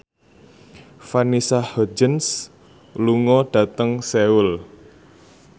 Vanessa Hudgens lunga dhateng Seoul